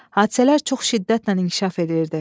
Hadisələr çox şiddətlə inkişaf edirdi.